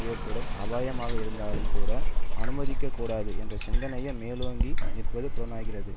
ஏற்படும் அபாயமாக இருந்தாலும் கூட அனுமதிக்க கூடாது என்ற சிந்தையே மேலோங்கி நிற்பது புலனாகிறது